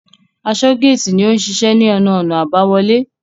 Asọ́-géètì ni ó n ṣiṣẹ́ ní ẹnu-ọ̀nà àbáwọlé.